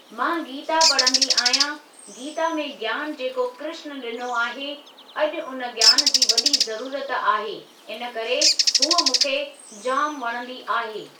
मां गीता पढ़ंदी आहियां, गीता में ज्ञान जेको कृष्ण ॾिनो आहे अॼु उन ज्ञान जी वॾी ज़रूरत आहे, इनकरे हूअ मूंखे जाम वणंदी आहे।